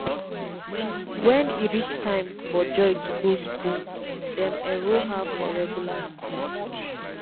wen e reach time for joy to go school dem enroll her for regular school